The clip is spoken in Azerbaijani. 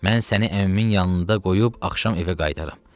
Mən səni əmimin yanında qoyub axşam evə qaytararam.